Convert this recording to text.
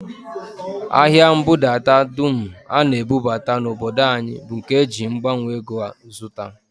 Ahịa mbudadata dum a na-ebubata n'obodo anyị bụ nke e ji mgbanwe ego zụta